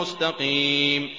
مُّسْتَقِيمٍ